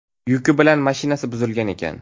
Yuki bilan mashinasi buzilgan ekan.